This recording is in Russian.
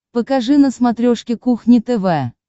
покажи на смотрешке кухня тв